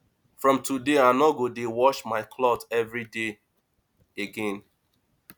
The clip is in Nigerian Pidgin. from today i no go dey wash my cloth everyday again